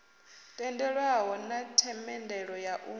tendelwaho na themendelo ya u